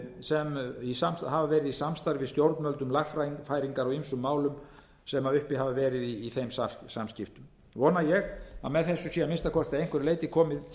sem hafa verið í samstarfi við stjórnvöld um lagfæringar á ýmsum málum sem uppi hafa verið í þeim samskiptum vona ég að með þessu sé að minnsta kosti að einhverju leyti komið til móts